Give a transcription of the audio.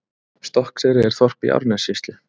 Stokkseyri er þorp í Árnessýslu.